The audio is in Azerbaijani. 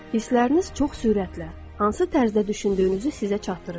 Hissləriniz çox sürətlə hansı tərzdə düşündüyünüzü sizə çatdırır.